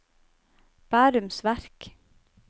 Bærums Verk